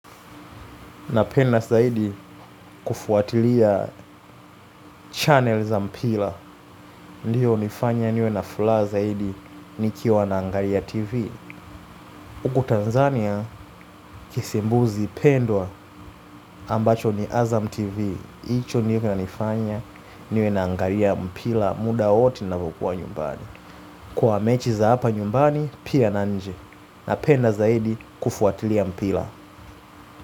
Napenda zaidi kufuatilia channel za mpira, ndiyo hunifanya niwe na furaha zaidi nikiwa na angalia tv. Huku Tanzania, kisimbuzi pendwa ambacho ni azam tv, hicho niwe na nifanya niwe na angalia mpira muda wowote ninavokuwa nyumbani. Kwa mechi za hapa nyumbani, pia na nje. Napenda zaidi kufuatilia mpila.